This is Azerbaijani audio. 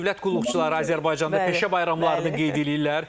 Dövlət qulluqçuları Azərbaycanda peşə bayramlarını qeyd eləyirlər.